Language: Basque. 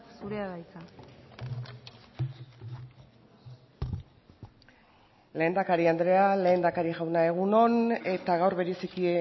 zurea da hitza lehendakari andrea lehendakari jauna egun on eta gaur bereziki